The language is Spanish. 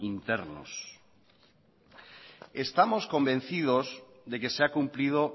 internos estamos convencidos de que se ha cumplido